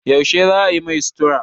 Yaushe za a yi mai sutura?